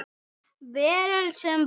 Veröld sem var.